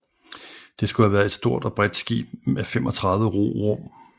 Det skulle have været et stort og bredt skib med 35 rorum